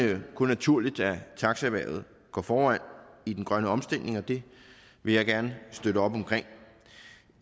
det kun naturligt at taxaerhvervet går foran i den grønne omstilling og det vil jeg gerne støtte op om